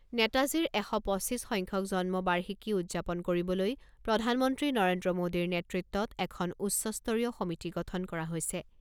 নেতাজীৰ এশ পঁচিছ সংখ্যক জন্ম বাৰ্ষিকী উদযাপন কৰিবলৈ প্ৰধানমন্ত্ৰী নৰেন্দ্ৰ মোদীৰ নেতৃত্বত এখন উচ্চস্তৰীয় সমিতি গঠন কৰা হৈছে।